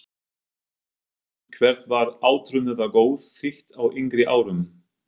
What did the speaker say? Haukum Hvert var átrúnaðargoð þitt á yngri árum?